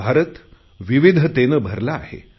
भारत विविधतेने भरला आहे